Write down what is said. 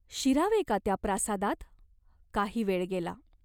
शिरावे का त्या प्रासादात ? काही वेळ गेला.